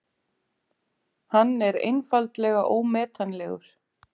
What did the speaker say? Hann er einfaldlega ómetanlegur.